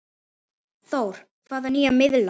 Þór: Hvaða nýja miðla?